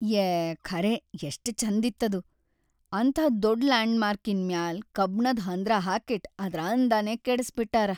ಯೇ ಖರೇ ಎಷ್ಟ್‌ ಛಂದಿತ್ತದು, ಅಂಥಾ ದೊಡ್ಡ್ ಲ್ಯಾಂಡ್‌ಮಾರ್ಕಿನ್ ಮ್ಯಾಲ್ ಕಬ್ಣದ್ ಹಂದ್ರ ಹಾಕಿಟ್ಟ್ ಅದ್ರ್‌ ಅಂದಾನೇ ಕೆಡಸ್ಬಿಟ್ಟಾರ.